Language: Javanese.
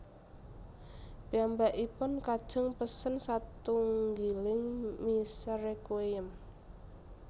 Piyambakipun kajeng pesen satunggiling misa Requiem